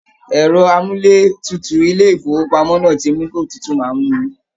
Ẹ̀rọ amúlétutu ilé ìfowópamọ́ náà ti mú kí otútú máa mú mi